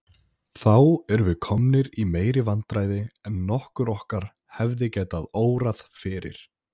Þá erum við komnir í meiri vandræði en nokkurn okkar hefði getað órað fyrir.